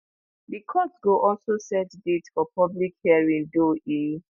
di court go also set date for public hearing though e